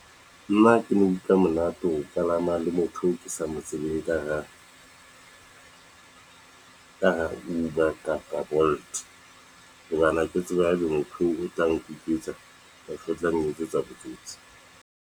Nna ha ke no utlwa monate ho kalama le motho eo ke sa mo tsebeng ka hara Uber kapa Bolt, ha ke tsebe motho oo tla kapa o tla nketsetsa botsotsi.